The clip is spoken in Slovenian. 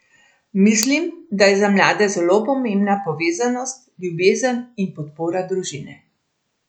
Mislim, da je za mlade zelo pomembna povezanost, ljubezen in podpora družine.